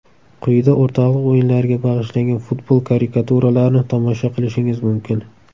Quyida o‘rtoqlik o‘yinlariga bag‘ishlangan futbol karikaturalarini tomosha qilishingiz mumkin.